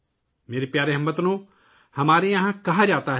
میرے پیارے ہم وطنو، یہاں کہا جاتا ہے